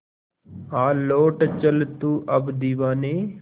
आ लौट चल तू अब दीवाने